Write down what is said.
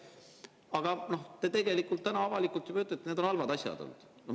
Aga tegelikult te ütlete täna juba avalikult, et need on olnud halvad asjad.